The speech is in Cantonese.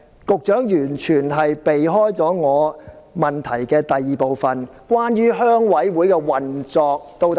局長完全迴避我主體質詢的第二部分，關於鄉事會的運作。